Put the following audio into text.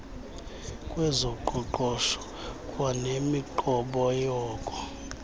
kwezoqoqosho kwanemiqobo yoko